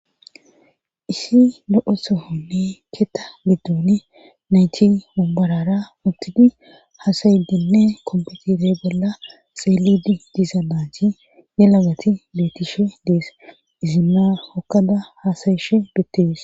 Isi lo'o sohonne keeta biddoni nayti umborara uttidi haasayidenne kompetire bolla xeelidi diiza naachi ye lagati leetishe dees izimmaa okada hasayishe bettees.